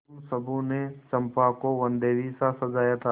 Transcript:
उन सबों ने चंपा को वनदेवीसा सजाया था